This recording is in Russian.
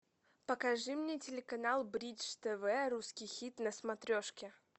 покажи мне телеканал бридж тв русский хит на смотрешке